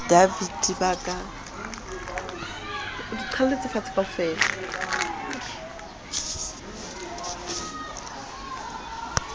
ba le dvt ba ka